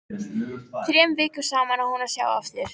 Þrem vikum saman á hún að sjá af þér.